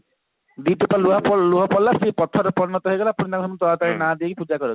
ଦୁଇଟୋପା ଲୁହ ପଡିଲା ସେ ପଥରରେ ପରିଣତ ହେଇଗଲା